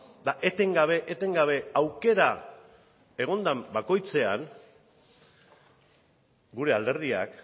eta etengabe etengabe aukera egon den bakoitzean gure alderdiak